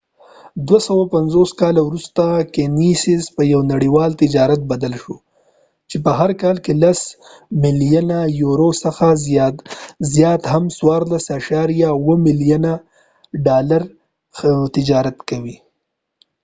دوه سوه پنڅوس کاله وروسته ګینیس په یو نړیوال تجارت بدل شو . چې په هر کال کې لس ملیارديورو څخه زیات یا هم څوارلس اعشاریه اوو ملیارده ډالر14.7billion $us شو